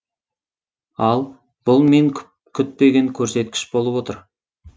ал бұл мен күтпеген көрсеткіш болып отыр